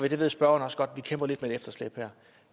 og der